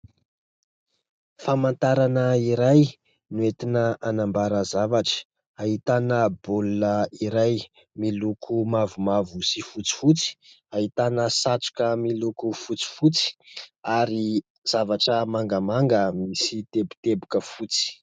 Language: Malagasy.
Famantarana iray noentina anambara zavatra, ahitana baolina iray miloko mavomavo sy fotsifotsy, ahitana satroka miloko fotsifotsy ary zavatra mangamanga misy teboteboka fotsy.